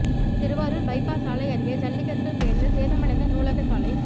Thiruvarur bypass சாலை அருகே ஜல்லிக்கற்கள் பெயர்ந்து சேதமடைந்த நூலக சாலை